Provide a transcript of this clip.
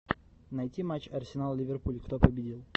найти матч арсенал ливерпуль кто победил